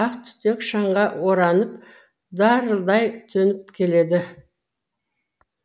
ақ түтек шаңға оранып дарылдай төніп келеді